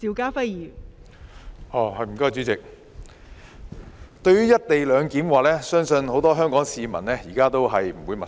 代理主席，對於"一地兩檢"，相信很多香港市民現在都不陌生。